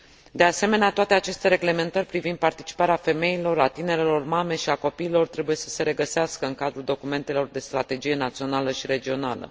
De asemenea, toate aceste reglementări privind participarea femeilor, a tinerelor mame și a copiilor trebuie să se regăsească în cadrul documentelor de strategie națională și regională.